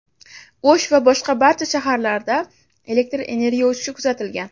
O‘sh va boshqa barcha shaharlarda elektr energiya o‘chishi kuzatilgan.